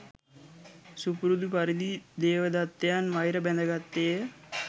සුපුරුදු පරිදි දේවදත්තයන් වෛර බැඳගත්තේ ය.